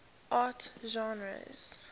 art genres